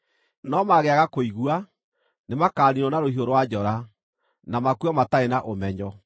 No mangĩaga kũigua, nĩmakaniinwo na rũhiũ rwa njora, na makue matarĩ na ũmenyo.